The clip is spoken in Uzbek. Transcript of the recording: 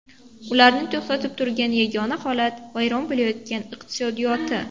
Ularni to‘xtatib turgan yagona holat vayron bo‘layotgan iqtisodiyoti.